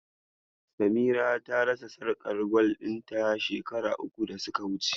Samira ta rasa sarƙar gwal ɗin ta shekara uku da suka wuce.